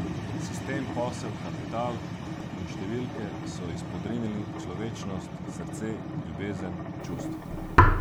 Sistem, posel, kapital in številke so izpodrinili človečnost, srce, ljubezen, čustva.